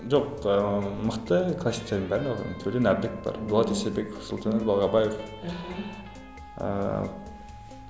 жоқ ыыы мықты классиктердің бәрін оқыдым төлен әбдік бар дулат исабеков сұлтанәлі балғабаев мхм ыыы